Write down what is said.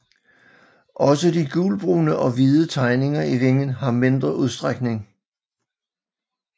Også de gulbrune og hvide tegninger i vingen har mindre udstrækning